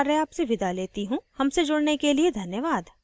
धन्यवाद